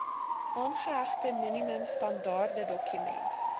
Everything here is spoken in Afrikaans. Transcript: aangehegte minimum standaardedokument